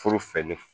Foro fɛ ne